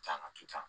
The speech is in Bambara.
Can a ti ca